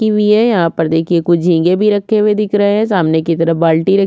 kiwi हैं यहाँ पर देखिए कुछ झींगे भी रखे हुए दिख रहै हैं सामने की तरफ बाल्टी रखी--